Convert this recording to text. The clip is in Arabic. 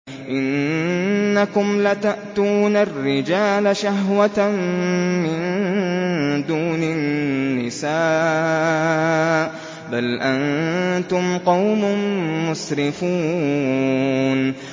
إِنَّكُمْ لَتَأْتُونَ الرِّجَالَ شَهْوَةً مِّن دُونِ النِّسَاءِ ۚ بَلْ أَنتُمْ قَوْمٌ مُّسْرِفُونَ